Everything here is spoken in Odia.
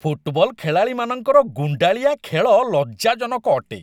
ଫୁଟବଲ୍ ଖେଳାଳିମାନଙ୍କର ଗୁଣ୍ଡାଳିଆ ଖେଳ ଲଜ୍ଜାଜନକ ଅଟେ।